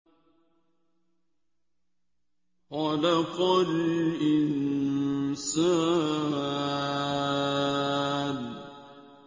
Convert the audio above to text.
خَلَقَ الْإِنسَانَ